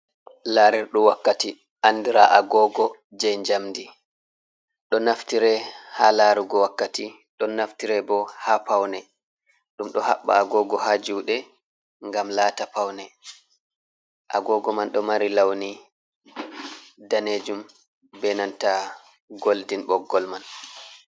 Larerdum wakkati andira agogo je jamdi. Do naftire ha larugo wakkati, don naftire bo ha pawne. Ɗum ɗo haɓba agogo ha juɗe ngam lata pawne. agogo man do mari launi danejum benanta goldin boggol man.